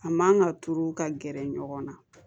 A man ka turu ka gɛrɛ ɲɔgɔn na